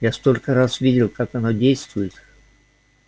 я столько раз видел как оно действует